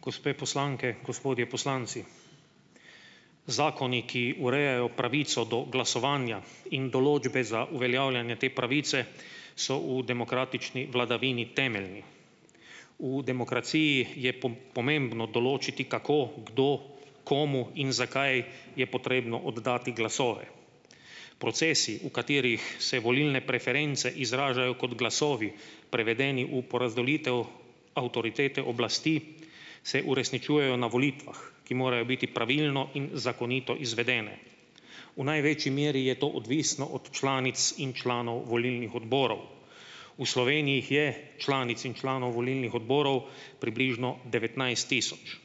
Gospe poslanke, gospodje poslanci. Zakoni, ki urejajo pravico do glasovanja, in določbe za uveljavljanje te pravice so v demokratični vladavini temeljni. V demokraciji je pomembno določiti, kako kdo komu in zakaj je potrebno oddati glasove. Procesi, v katerih se volilne preference izražajo kot glasovi prevedeni v porazdelitev avtoritete oblasti se uresničujejo na volitvah, ki morajo biti pravilno in zakonito izvedene. V največji meri je to odvisno od članic in članov volilnih odborov. V Sloveniji jih je, članic in članov volilnih odborov, približno devetnajst tisoč.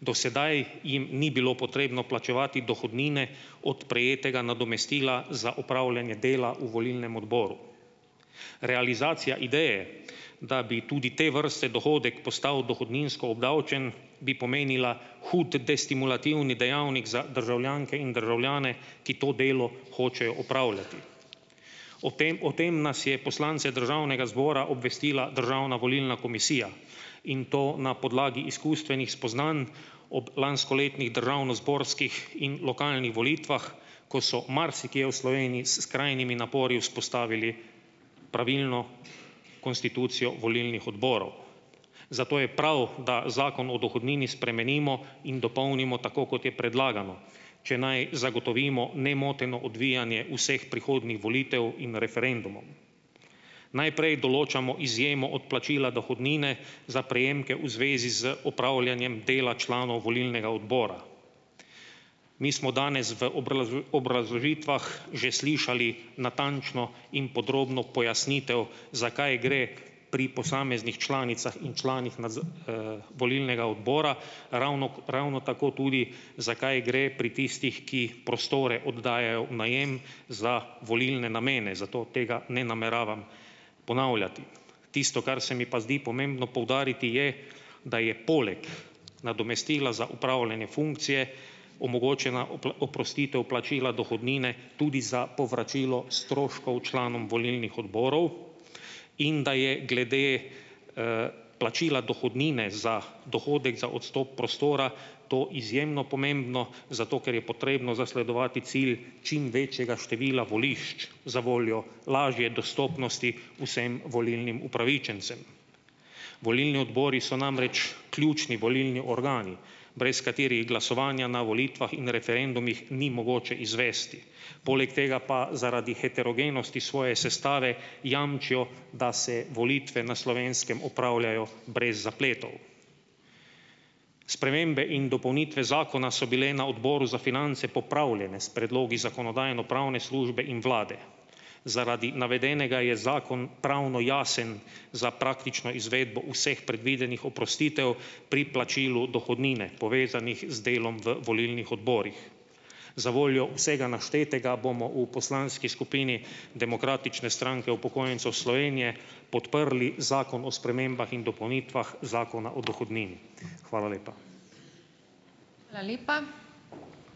Do sedaj jim ni bilo potrebno plačevati dohodnine od prejetega nadomestila za upravljanje dela v volilnem odboru. Realizacija ideje, da bi tudi te vrste dohodek postal dohodninsko obdavčen, bi pomenila od destimulativni dejavnik za državljanke in državljane, ki to delo hočejo opravljati. O tem, o tem nas je poslance državnega zbora obvestila Državna volilna komisija in to na podlagi izkustvenih spoznanj ob lanskoletnih državnozborskih in lokalnih volitvah, ko so marsikje v Sloveniji s skrajnimi napori vzpostavili pravilno konstitucijo volilnih odborov. Zato je prav, da Zakon o dohodnini spremenimo in dopolnimo tako, kot je predlagano, če naj zagotovimo nemoteno odvijanje vseh prihodnjih volitev in referendumov. Najprej določamo izjemo odplačila dohodnine za prejemke v zvezi z opravljanjem dela članov volilnega odbora. Mi smo danes v obrazložitvah že slišali natančno in podrobno pojasnitev, za kaj gre pri posameznih članicah in članih na z, volilnega odbora, ravno, ravno tako tudi, za kaj gre pri tistih, ki prostore oddajajo v najem za volilne namene, zato tega ne nameravam ponavljati. Tisto, kar se mi pa zdi pomembno poudariti, je, da je poleg nadomestila za opravljanje funkcije omogočena, oprostitev plačila dohodnine tudi za povračilo stroškov članom volilnih odborov in da je glede, plačila dohodnine za dohodek za odstop prostora to izjemno pomembno zato, ker je potrebno zasledovati cilj čim večjega števila volišč zavoljo lažje dostopnosti vsem volilnim upravičencem. Volilni odbori so namreč ključni volilni organi, brez katerih glasovanja na volitvah in referendumih ni mogoče izvesti, poleg tega pa zaradi heterogenosti svoje sestave jamčijo, da se volitve na Slovenskem opravljajo brez zapletov. Spremembe in dopolnitve zakona so bile na Odboru za finance popravljene s predlogi Zakonodajno-pravne službe in vlade. Zaradi navedenega je zakon pravno jasen za praktično izvedbo vseh predvidenih oprostitev pri plačilu dohodnine, povezanih z delom v volilnih odborih. Zavoljo vsega naštetega bomo v poslanski skupini Demokratične stranke upokojencev Slovenije podprli Zakon o spremembah in dopolnitvah Zakona o dohodnini. Hvala lepa. Hvala lepa.